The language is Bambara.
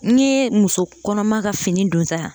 N'i ye muso kɔnɔma ka fini donta